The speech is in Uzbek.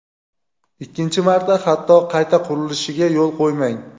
ikkinchi marta hatto qayta qurilishiga yo‘l qo‘ymang.